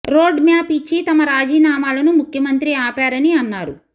road map ఇచ్చి తమ రాజీనామాలను ముఖ్యమంత్రి ఆపారని అన్నారు